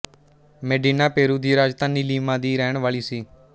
Medina Peru ਦੀ ਰਾਜਧਾਨੀ Lima ਦੀ ਰਹਿਣ ਵਾਲੀ ਸੀ